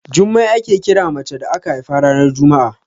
Jummai ake kira mace da aka haifa ranar juma'a.